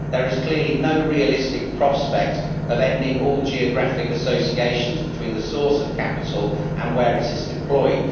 There is clearly no realistic prospect of ending all geographic associations between the source of capital and where it is deployed.